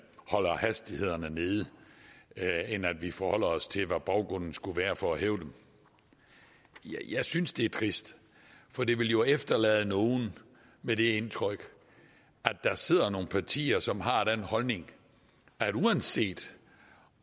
holder hastighederne nede end at vi forholder os til hvad baggrunden skulle være for at hæve dem jeg synes det er trist for det vil jo efterlade nogle med det indtryk at der sidder nogle partier som har den holdning at uanset